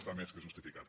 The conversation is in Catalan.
està més que justificat